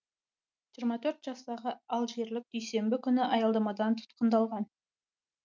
жиырма төрт жастағы алжирлік дүйсенбі күні аялдамадан тұтқындалған